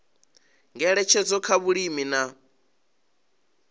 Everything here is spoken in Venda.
ngeletshedzo kha zwa vhulimi na